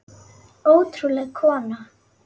Ótrúleg kona.